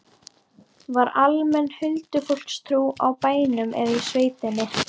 Var almenn huldufólkstrú á bænum eða í sveitinni?